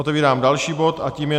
Otevírám další bod a tím je